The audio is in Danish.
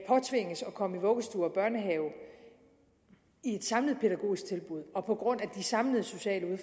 komme i vuggestue og børnehave i et samlet pædagogisk tilbud og på grund af de samlede sociale